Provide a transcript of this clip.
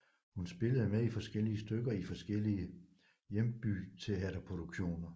Hun spillede med i forskellige stykker i forskellige hjembyteaterproduktioner